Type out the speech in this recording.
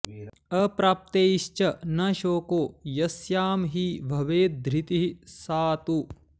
अप्राप्तैश्च न शोको यस्यां हि भवेद् धृतिः सा तु